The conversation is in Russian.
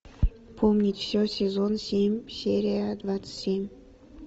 помнить все сезон семь серия двадцать семь